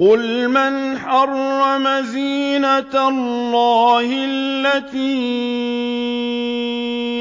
قُلْ مَنْ حَرَّمَ زِينَةَ اللَّهِ الَّتِي